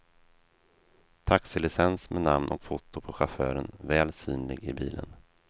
Taxilicens med namn och foto på chauffören väl synlig i bilen.